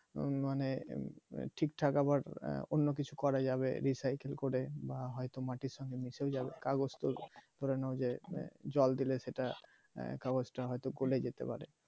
আহ মানে ঠিকঠাক আবার অন্য কিছু করা যাবে recycle হয়তো মাটির সঙ্গে মিশে যাবে কাগজ পড়ানো যে জল দিলে সেটা তা হয়তো এটা গলে যেতে পারে